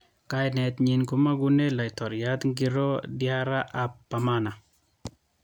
Kainet nyin komagune Laitoriat Ngilo Diarra ab Bamana.